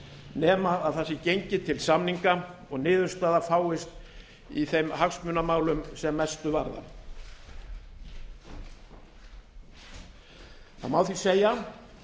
nema það sé gengið til samninga og niðurstaða fáist í þeim hagsmunamálum sem mestu varðar það má því segja